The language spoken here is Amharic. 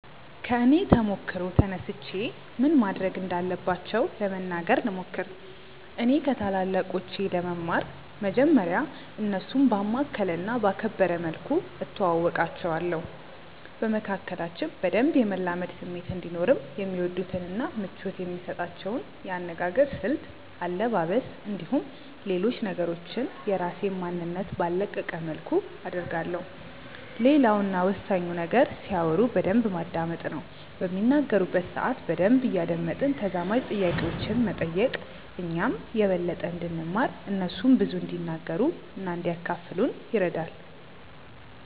ከኔ ተሞክሮ ተነስቼ ምን ማድረግ እንዳለባቸው ለመናገር ልሞክር። እኔ ከታላላቆቼ ለመማር መጀመርያ እነርሱን ባማከለ እና ባከበረ መልኩ እተዋወቃቸዋለሁ። በመካከላችን በደንብ የመላመድ ስሜት እንዲኖርም የሚወዱትን እና ምቾት የሚሰጣቸውን የአነጋገር ስልት፣ አለባበስ፣ እንዲሁም ሌሎች ነገሮችን የራሴን ማንነት ባልለቀቀ መልኩ አደርጋለሁ። ሌላው እና ወሳኙ ነገር ሲያወሩ በደንብ ማዳመጥ ነው። በሚናገሩበት ሰአት በደንብ እያደመጥን ተዛማጅ ጥያቄዎችን መጠየቅ እኛም የበለጠ እንድንማር እነርሱም ብዙ እንዲናገሩ እና እንዲያካፍሉን ይረዳል።